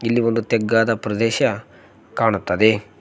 ಇಲ್ಲಿ ಒಂದು ತೆಗ್ಗಾದ ಪ್ರದೇಶ ಕಾಣುತ್ತದೆ.